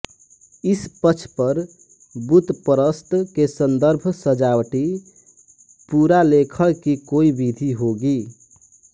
इस पक्ष पर बुतपरस्त के सन्दर्भ सजावटी पुरालेखण की कोई विधि होगी